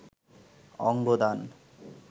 অঙ্গ দান